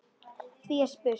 Því er spurt: